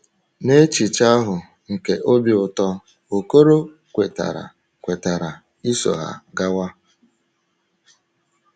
Na echiche ahụ nke obi ụtọ, Okoro kwetara kwetara iso ha gawa.